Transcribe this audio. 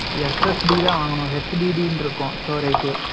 SSD தான் வாங்கணும், HDD ன்னு இருக்கும், storage